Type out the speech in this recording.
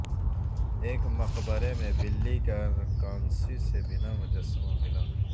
ایک مقبرے میں بلی کا کانسی سے بنا مجسمہ ملا